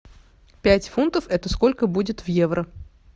пять фунтов это сколько будет в евро